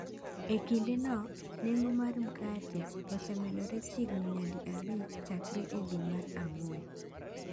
E kindeno, nengo mar mkate osemedore chiegni nyadi abich chakre e dwe mar ang’wen.